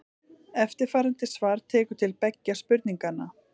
Eftirfarandi svar tekur til beggja spurninganna.